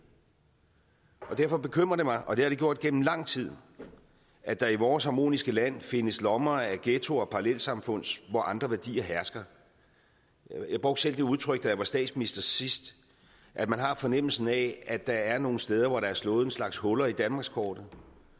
derfor bekymrer det mig og det har det gjort gennem lang tid at der i vores harmoniske land findes lommer af ghettoer og parallelsamfund hvor andre værdier hersker jeg brugte selv det udtryk da jeg var statsminister sidst at man har fornemmelsen af at der er nogle steder hvor der er slået en slags huller i danmarkskortet